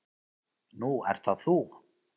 Nú ert það þú.